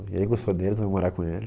E aí gostou dele, você vai morar com ele?